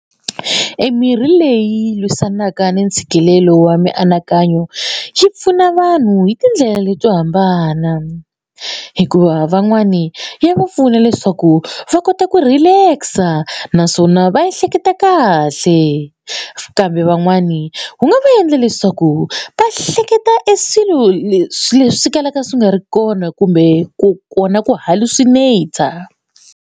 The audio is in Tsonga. Emirhi leyi lwisanaka ni ntshikelelo wa mianakanyo yi pfuna vanhu hi tindlela leti to hambana hikuva van'wani ya va pfuna leswaku va kota ku relax-a naswona va ehleketa kahle kambe van'wani wu nga endla leswaku va hleketa e swilo leswi leswi kalaka swi nga ri kona kumbe ku kona ku hallucinat-a.